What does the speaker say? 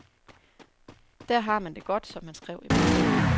Der har man det godt, som han skrev i brevet.